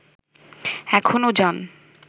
এখনও যান